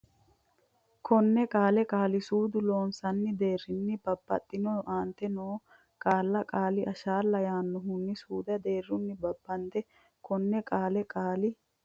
konne qaale qaali suudu Loossinanni deerrinni babbandiro aantete noo qaalla qaali ashala l yannohanna suudu deerrinni babbadde konne qaale qaali.